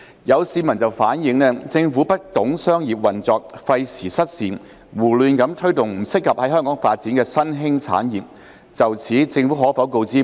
有市民反映，政府不懂商業運作，費時失事，胡亂推動不適合在港發展的新興產業。